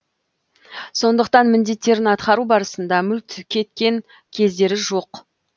сондықтан міндеттерін атқару барысында мүлт кеткен кездері жоқ